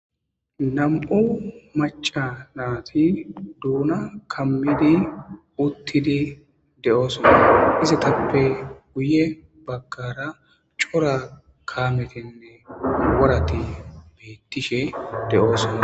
nam'u macanaati duuna kammidi uttidi de7oosona izatappe guye baggara cora kaametinne warati beettishe de's.